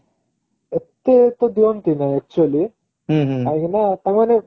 ଏତେ ତ ଦିଅନ୍ତି ନାହିଁ actually କାହିଁକି ନା ତାଙ୍କମାନେ